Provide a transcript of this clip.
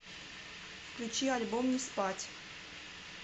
включи альбом не спать